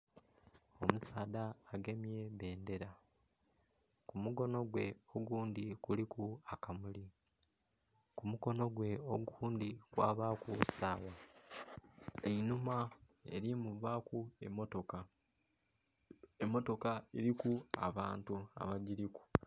Omusaadha agemye bendhera ku mukonho gwe ogundhi kuliku akamuli ku mukonho gwe ogundhi kwabaku sawa, einhuma erimuvaku emotoka emotoka eriku abantu abagiliku.